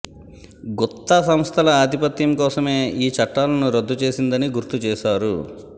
గుత్త సంస్థల ఆధిపత్యం కోసమే ఈ చట్టాలను రద్దు చేసిందని గుర్తు చేశారు